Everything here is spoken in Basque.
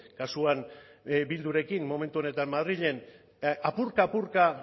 kasuan bildurekin momentu honetan madrilen apurka apurka